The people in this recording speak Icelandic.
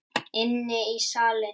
Inn í salinn.